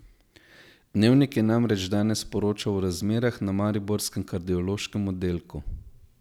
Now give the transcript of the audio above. Dnevnik je namreč danes poročal o razmerah na mariborskem kardiološkem oddelku.